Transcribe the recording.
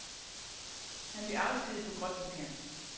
Han blev afskediget på gråt papir.